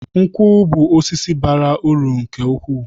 Nkwu bú osisi bara uru nke ukwuu